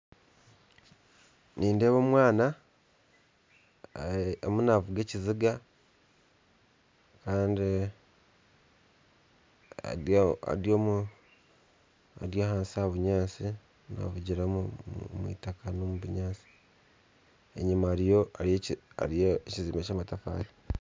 Nindeeba omwana ariyo naavuga ekiziga kandi ari ahansi omu bunyatsi naavugira omwitaka n'omu bunyatsi, enyima hariyo ekyombeko ky'amatafaari